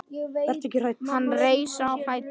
Hann reis á fætur.